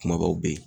Kumabaw bɛ ye